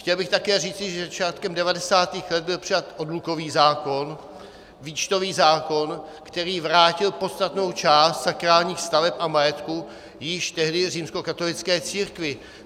Chtěl bych také říci, že začátkem 90. let byl přijat odlukový zákon, výčtový zákon, který vrátil podstatnou část sakrálních staveb a majetku již tehdy římskokatolické církvi.